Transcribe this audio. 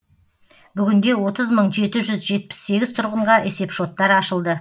бүгінде отыз мың жеті жүз жетпіс сегіз тұрғынға есепшоттар ашылды